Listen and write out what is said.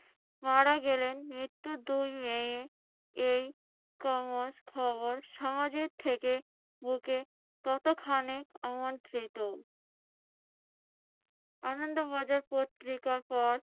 মারা গেলেন। মৃত্যুর দুই মেয়ে এই খবর সমাজের থেকে বুকে কতখানিক আমন্ত্রিত। আনন্দ বাজার পত্রিকার পর